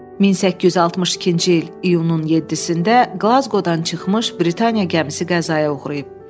"1862-ci il iyunun 7-də Qlazqodan çıxmış Britaniya gəmisi qəzaya uğrayıb."